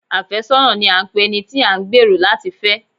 Afẹ́sọ́nà ni à ń pe ẹni tí a ń gbẹ̀rò láti fẹ́.